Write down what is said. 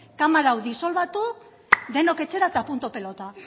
kamara hau disolbatu denok etxera eta punto pelota